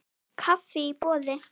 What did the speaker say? Kaffi í boði.